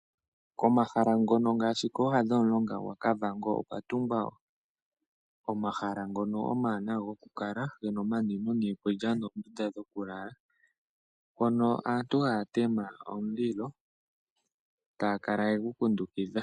Komahala ngono ngaashi kooha dhomulonga gwaKavango okwa tungwa omahala ngono omawanawa goku kala gena omanwino niikulya noondunda dhoku lala. Mpono aantu haya tema omulilo taya kala yegu kundukidha.